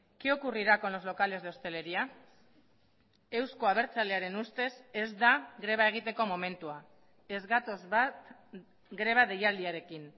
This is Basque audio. qué ocurrirá con los locales de hostelería euzko abertzalearen ustez ez da greba egiteko momentua ez gatoz bat greba deialdiarekin